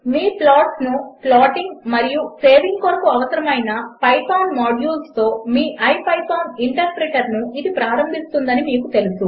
మీ ప్లాట్స్ను ప్లాటింగ్ మరియు సేవింగ్ కొరకు అవసరము అయిన పైథాన్ మాడ్యూల్స్తో మీ ఇపిథాన్ ఇంటర్ప్రిటర్ను ఇది ప్రారంభిస్తుంది అని మీకు తెలుసు